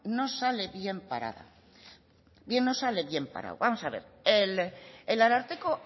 no sale bien parado no sale bien parado vamos a ver el ararteko